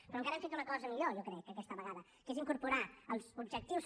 però encara hem fet una cosa millor jo crec aquesta vegada que és incorporar els objectius